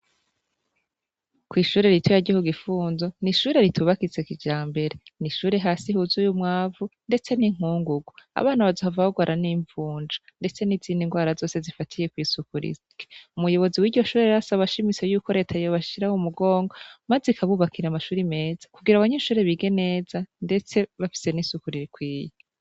Kw'ishure rito yaryiaku gifunzo ni ishure ritubakitsek ija mbere ni ishure hasi huzu y'umwavu, ndetse n'inkungugo abana bazavabagoaran'imvunja, ndetse n'izindi ngwara zose zifatiye kw'isukurise umuyobozi w'iryoshure rasi abashimiso yuko reta yobashiraho umugonga, maze ikabubakira amashuri meza kugira abanyeinshure bige nee za, ndetse bafise n'isukurira ikwiye.